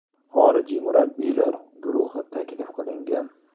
Xorijiy murabbiylar guruhi taklif qilingan.